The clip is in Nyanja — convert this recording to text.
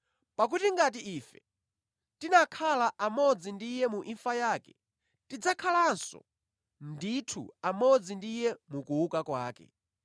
Pakuti ngati ife tinakhala amodzi ndi Iye mu imfa yake, tidzakhalanso ndithu amodzi ndi Iye mu kuuka kwake.